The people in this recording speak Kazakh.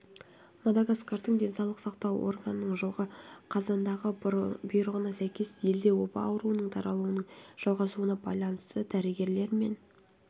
мадагаскардың денсаулық сақтау органының жылғы қазандағы бұйрығына сәйкес елде оба ауруының таралуының жалғасуына байланысты дәрігерлер мен